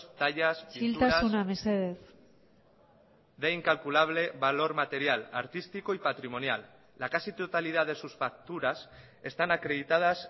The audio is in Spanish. tallas isiltasuna mesedez de incalculable valor material artístico y patrimonial la casi totalidad de sus facturas están acreditadas